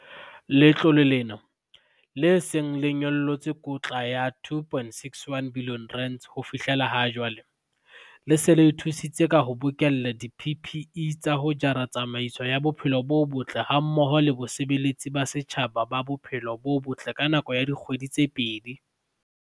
Letlole lena, le seng le nyollotse kotla ya R2.61 bilione ho fihlela jwale, le se le thusitse ka ho bokella di-PPE tsa ho jara tsamaiso ya bophelo bo botle hammoho le basebeletsi ba setjhaba ba bophelo bo botle ka nako ya dikgwedi tse pedi.